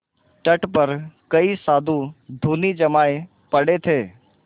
तट पर कई साधु धूनी जमाये पड़े थे